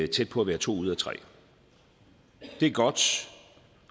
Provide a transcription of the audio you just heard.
tæt på at være to ud af tre det er godt